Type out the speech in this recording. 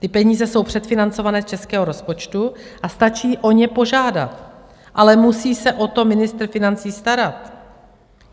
Ty peníze jsou předfinancované z českého rozpočtu a stačí o ně požádat, ale musí se o to ministr financí starat.